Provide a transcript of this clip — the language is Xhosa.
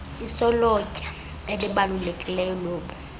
isolotya elibalulekileyo lobu